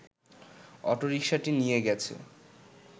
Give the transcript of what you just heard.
অটোরিকশাটি নিয়ে গেছে